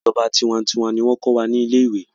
ìjọba tiwantiwa ní wón ko wà ní ilé ìwé.